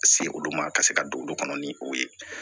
Se olu ma ka se ka don olu kɔnɔ ni o ye